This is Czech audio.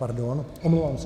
Pardon, omlouvám se.